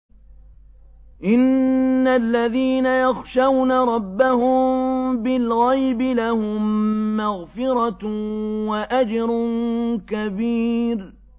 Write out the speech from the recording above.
إِنَّ الَّذِينَ يَخْشَوْنَ رَبَّهُم بِالْغَيْبِ لَهُم مَّغْفِرَةٌ وَأَجْرٌ كَبِيرٌ